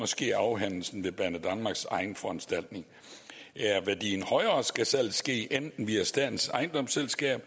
sker afhændelsen ved banedanmarks egen foranstaltning er værdien højere skal salget ske enten via statens ejendomsselskab